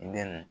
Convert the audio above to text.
I bɛ